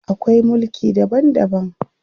Akwai mulki daban daban.